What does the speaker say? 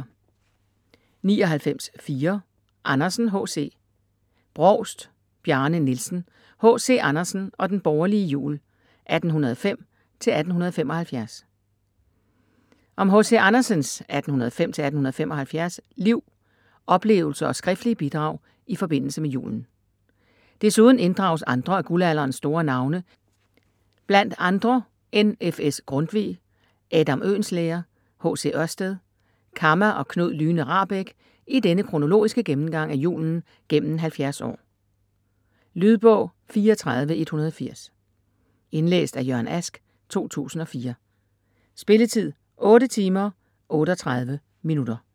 99.4 Andersen, H. C. Brovst, Bjarne Nielsen: H.C. Andersen og den borgerlige jul: 1805-1875 Om H.C. Andersens (1805-1875) liv, oplevelser og skriftlige bidrag i forbindelse med julen. Desuden inddrages andre af guldalderens store navne, bl.a. N.F.S. Grundtvig, Adam Oehlenschlæger, H.C. Ørsted, Kamma og Knud Lyhne Rahbek i denne kronologiske gennemgang af julen gennem 70 år. Lydbog 34180 Indlæst af Jørgen Ask, 2004. Spilletid: 8 timer, 38 minutter.